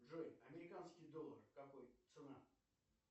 джой американский доллар какой цена